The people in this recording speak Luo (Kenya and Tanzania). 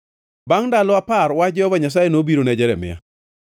Bangʼ ndalo apar wach Jehova Nyasaye nobiro ne Jeremia.